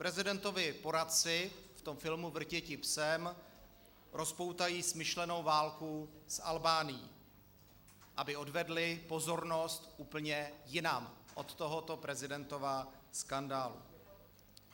Prezidentovi poradci v tom filmu Vrtěti psem rozpoutají smyšlenou válku s Albánií, aby odvedli pozornost úplně jinam od tohoto prezidentova skandálu.